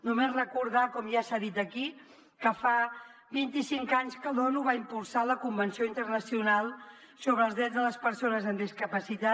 només recordar com ja s’ha dit aquí que fa vint i cinc anys que l’onu va impulsar la convenció internacional sobre els drets de les persones amb discapacitat